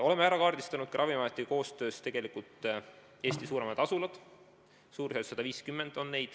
Oleme koostöös Ravimiametiga kaardistanud Eesti suuremad asulad, neid on suurusjärgus 150.